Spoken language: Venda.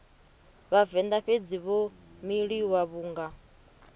vhavenḓa fhedzi vho miliwa vhunga